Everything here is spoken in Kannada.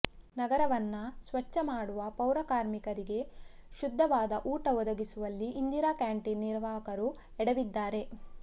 ನಗರವನ್ನ ಸ್ವಚ್ಛ ಮಾಡುವ ಪೌರ ಕಾರ್ಮಿಕರಿಗೇ ಶುದ್ಧವಾದ ಊಟ ಒದಗಿಸುವಲ್ಲಿ ಇಂದಿರಾ ಕ್ಯಾಂಟೀನ್ ನಿರ್ವಾಹಕರು ಎಡವಿದ್ದಾರೆ